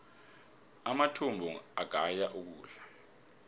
amathumbu agaya ukudla